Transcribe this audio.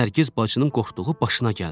Nərgiz bacının qorxduğu başına gəldi.